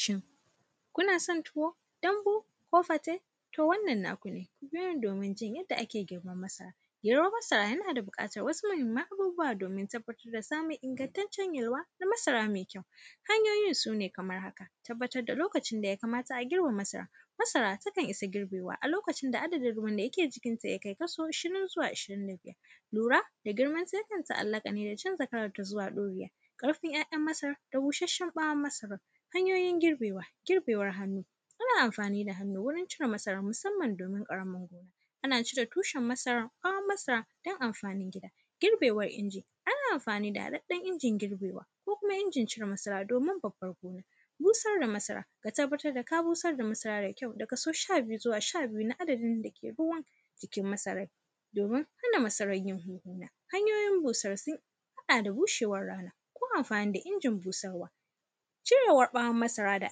Shin, kuna son tuwo, dambu ko fate? To, wannan naku ne, ku biyo ni domin jin yadda ake girban masara. Girban masara, yana da biƙatar wasu mahimman abubuwa tabbatar da samun ingantaccen yalwa na masara me kyau. Hanyoyin su ne kamar haka. Tabbatar da lokacin da ya kamata a girbe masara, masara takan isa girbewa a lokacin da adadin ruwan da yake jikinta ya kai kasi ishirin zuwa ishirin da biyar. Lura da girmanta, yakan ta’allaƙa ne da canza kalanta zuwa ɗuriya. Ƙarfin “yayan masarar da bushasshen ‘ya’yan masarar. Hanyoyin girbewa, girbewan hannu. Ana amfani da hannu wurin cire masarar, musamman domin ƙaramar gona. Ana cire tushen masarar, ƃawonmasarar, don amfanin gida. Girbewan inji, ana amfani da haɗaɗɗen injin girbewa ko kumainjin cire masara, domin babbar gona. Busar da masara, ka tabbatar da ka busar da masara da kyau da kaso sha biyu zuwa sha biyu na adadin da ke ruwan jikin masarai, domin hana masarar yin hunhuna. Hanyoyin busar, sun haɗa da bushewar rana ko amfani da injin busarwa. Cirewar ƃawon masara da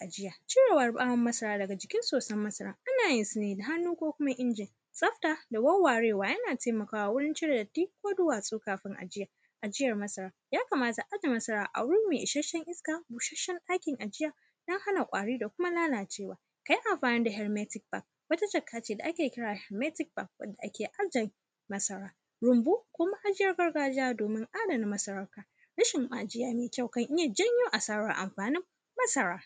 ajiya, cirewar ƃawon masara daga jikin sosan masaran, ana yin su ne da hannu ko kuma injin. Tsafta da wawwarewa, yana temakawa wurin cire datti ko duwatsu kafin ajiya. Ajiyar masara, ya kamata a aje masara a wuri me isassshen iska, busasshen ɗakin ajiya don hana ƙwari da kuma lalacewa. Ka yi amfani da “helmatic bag”, wata jaka ce da ake kira “helmatic bag” wanda ake aje masara. Rumbu ko ma’ajiyar gargajiya domin adana masara, rashin ma’ajiya me kyau, kan iya janyo asarar amfanin masara.